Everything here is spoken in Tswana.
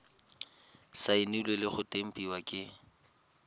saenilwe le go tempiwa ke